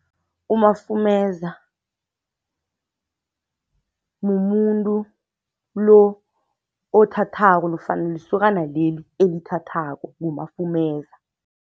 Umafumeza mumuntu lo othathako nofana lisokana leli elithathako, ngumafumeza.